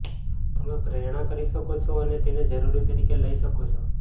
તમે પ્રેરણા કરી શકો છો અને તેને જરૂરી તરીકે લઇ શકો છો